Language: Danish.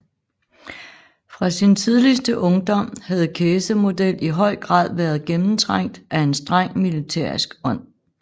Fra sin tidligste ungdom havde Kæsemodel i høj grad været gennemtrængt af en streng militærisk ånd